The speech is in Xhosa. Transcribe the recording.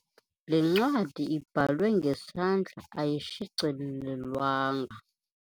Le ncwadi ibhalwe ngesandla ayishicilelwanga.